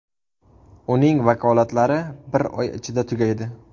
Uning vakolatlari bir oy ichida tugaydi.